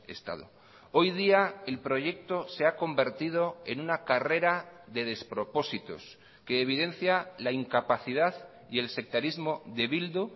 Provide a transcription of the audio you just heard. estado hoy día el proyecto se ha convertido en una carrera de despropósitos que evidencia la incapacidad y el sectarismo de bildu